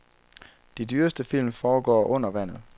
De dyreste film foregår under vandet.